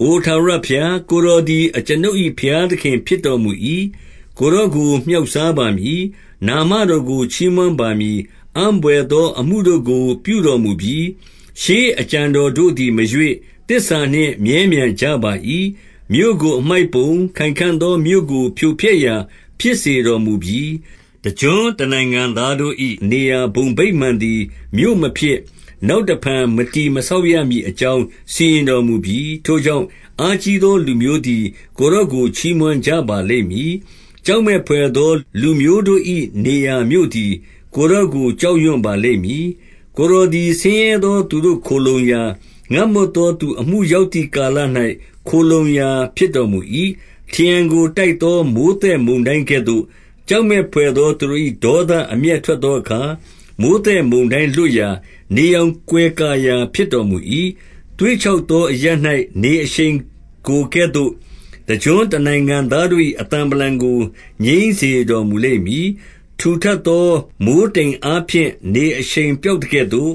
အိုထာဝရဘုရား၊ ကိုယ်တော်သည် အကျွန်ုပ်၏ ဘုရားသခင်ဖြစ်တော်မူ၏။ ကိုယ်တော်ကို မြှောက်စား ပါမည်။ နာမတော်ကို ချီးမွမ်းပါမည်။ အံ့ဘွယ်သော အ မှုတို့ကိုပြုတော်မူပြီ။ ရှေးအကြံတော်တို့သည် မရွေ့၊ သစ္စာ နှင့် မြဲမြံကြပါ၏။ 2 မြို့ကိုအမှိုက်ပုံ၊ ခိုင်ခံ့သောမြို့ကို ဖြိုဖျက်ရာဖြစ် စေတော်မူပြီ။ တကျွန်းတနိုင်ငံသားတို့၏ နေရာဘုံဗိမာန် သည် မြို့မဖြစ်၊ နောက်တဖန် မတည်မဆောက် ရမည် အကြောင်းစီရင်တော်မူပြီ။ 3 ထိုကြောင့်၊ အားကြီးသော လူမျိုးသည် ကိုယ်တော်ကို ချီး မွမ်းကြပါလိမ့်မည်။ ကြောက်မက်ဘွယ်သော လူမျိုးတို့၏ နေရာမြို့သည် ကိုယ်တော်ကို ကြောက်ရွံ့ပါလိမ့်မည်။ 4 ကိုယ်တော်သည် ဆင်းရဲသောသူတို့ ခိုလှုံရာ၊ ငတ်မွတ်သောသူအမှု ရောက်သည်ကာလ၌ ခိုလှုံရာဖြစ် တော်မူ၏။ ထရံကို တိုက်သော မိုဃ်းသက်မုန်တိုင်းကဲ့သို့၊ ကြောက်မက်ဘွယ်သောသူတို့၏ ဒေါသအမျက်ထွက် သောအခါ၊ မိုဃ်းသက်မုန်တိုင်း လွတ်ရာ၊ နေရောင်ကွယ် ကာရာ ဖြစ်တော်မူ၏။ 5 သွေ့ခြောက်သော အရပ်၌ နေအရှိန်ကိုကဲ့သို့၊တ ကျွန်းတနိုင်ငံတို့၏ အသံဗလံကို ငြိမ်းစေတော်မူလိမ့်မည်။ ထူထပ်သော မိုဃ်းတိမ်အားဖြင့် နေအရှိန် ပျောက်သကဲ့ သို့၊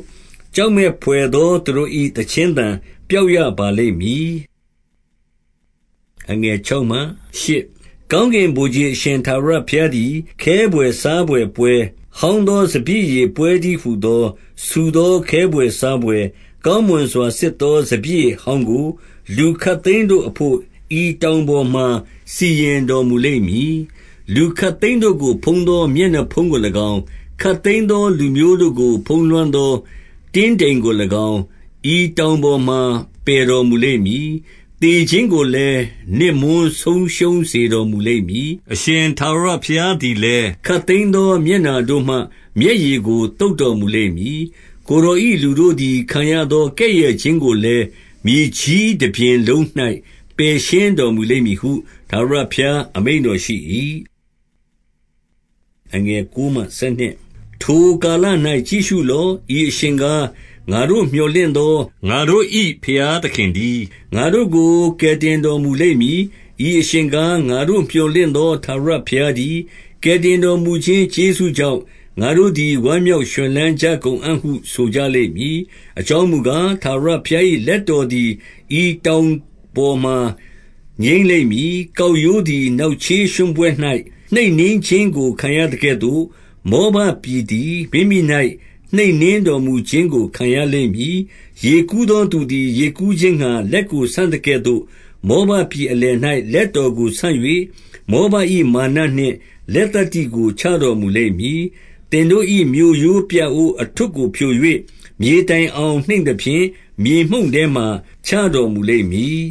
ကြောက်မက်ဘွယ်သောသူတို့၏ သီချင်းသံပျောက် ရပါလိမ့်မည်။ 6 ကောင်းကင်ဗိုလ်ခြေအရှင် ထာဝရဘုရားသည်၊ ခဲဘွယ်စားဘွယ်ပွဲ၊ ဟောင်းသောစပျစ်ရည်ပွဲတည်းဟူ သော၊ ဆူသောခဲဘွယ်စားဘွယ်၊ ကောင်းမွန်စွာစစ်သော စပျစ်ရည်ဟောင်းကို လူခပ်သိမ်းတို့အဘို့ ဤတောင်ပေါ် မှာ စီရင်တော်မူလိမ့်မည်။ 7 လူခပ်သိမ်းတို့ကို ဖုံးသော မျက်နှာဖုံးကို၎င်း၊ ခပ်သိမ်းသော လူမျိုးတို့ကို ဖုံးလွှမ်းသော တင်းတိမ်ကို၎င်း၊ ဤတောင်ပေါ်မှာ ပယ်တော်မူလိမ့်မည်။ 8 သေခြင်းကိုလည်း နစ်မွန်းဆုံးရှုံးစေတော်မူလိမ့် မည်။ အရှင်ထာဝရဘုရားသည်လည်း၊ ခပ်သိမ်းသော မျက်နှာတို့မှ မျက်ရည်ကိုသုတ်တော်မူလိမ့်မည်။ ကိုယ် တော်၏လူတို့သည် ခံရသော ကဲ့ရဲ့ခြင်းကိုလည်း၊ မြေကြီး တပြင်လုံး၌ ပယ်ရှင်းတော်မူလိမ့်မည်ဟု၊ ထာဝရဘုရား အမိန့်တော်ရှိ၏။ 9 ထိုကာလ၌ ကြည့်ရှုလော့။ ဤအရှင်ကား၊ ငါတို့ မြော်လင့်သော၊ ငါတို့၏ဘုရားသခင်တည်း။ ငါတို့ကို ကယ် တင်တော်မူလိမ့်မည်။ ဤအရှင်ကား၊ ငါတို့မြော်လင့်သော ထာဝရဘုရားတည်း။ ကယ်တင်တော်မူခြင်းကျေးဇူး ကြောင့်၊ ငါတို့သည် ဝမ်းမြောက်ရွှင်လန်းကြကုန်အံ့ဟုဆို ကြလိမ့်မည်။ 10 အကြောင်းမူကား၊ ထာဝရဘုရား၏ လက်တော် သည် ဤတောင်ပေါ်မှာ ငြိမ်းလိမ့်မည်။ ကောက်ရိုးသည် နောက်ချေးရွှံ့ပွက်၌ နှိပ်နင်းခြင်းကို ခံရသကဲ့သို့၊ မောဘ ပြည်သည် မိမိ၌ နှိပ်နင်းတော်မူခြင်းကိုခံရလိမ့်မည်။ 11 ရေကူးသောသူသည် ရေကူးခြင်းငှါ လက်ကို ဆန့်သကဲ့သို့၊ မောဘပြည်အလယ်၌ လက်တော်ကို ဆန့် ၍၊ မောဘ၏မာနနှင့် လက်သတ္တိကို ချတော်မူလိမ့်မည်။ 12 သင်တို့၏ မြို့ရိုးပြအိုး အထွဋ်ကို ဖြို၍၊ မြေတိုင် အောင် နှိမ့်သဖြင့်၊မြေမှုန့်ထဲမှာ ချတော်မူလိမ့်မည်။